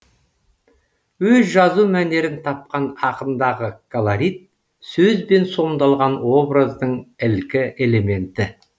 өз жазу мәнерін тапқан ақындағы колорит сөзбен сомдалған образдың ілкі элементі